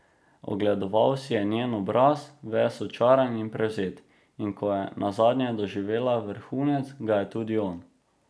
Ogledoval si je njen obraz, ves očaran in prevzet, in ko je nazadnje doživela vrhunec, ga je tudi on.